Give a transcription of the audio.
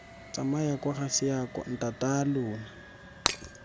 tsamaya kwa ga seako ntataalona